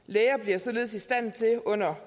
læger bliver således i stand til under